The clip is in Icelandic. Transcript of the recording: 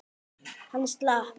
Hann slapp.